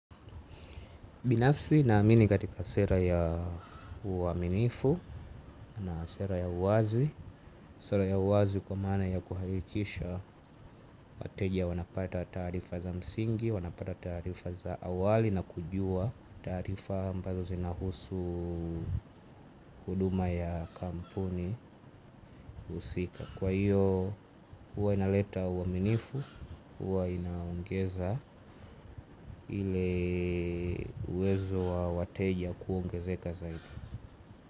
Binafsi naamini katika sera ya uaminifu na sera ya uwazi. Sera ya uwazi kwa mana ya kuhakikisha wateja wanapata taarifa za msingi, wanapata taarifa za awali na kujua taarifa ambazo zinahusu huduma ya kampuni husika. Kwa hiyo huwa inaleta uaminifu, uwa inaongeza ile uwezo wa wateja kuongezeka zaidi.